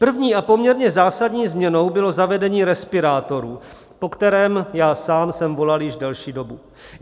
První a poměrně zásadní změnou bylo zavedení respirátorů, po kterém já sám jsem volal již delší dobu.